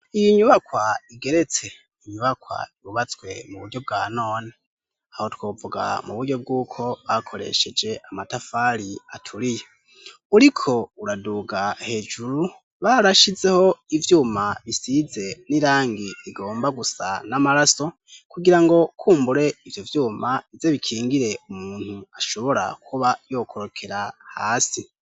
Iyi nyubakwa igeretse, ni inyubakwa yububatswe mu buryo bwa none aho twovuga mu buryo bw'uko bakoresheje amatafari aturiye uriko uraduga hejuru barashizeho ivyuma bisize n'irangi rigomba gusa n'amaraso kugira ngo kumbure ivyo vyuma ize bikingire umuntu ashobora kuba yokorokera hasi.